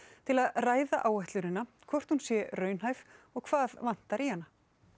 til að ræða áætlunina hvort hún sé raunhæf og hvað vanti í hana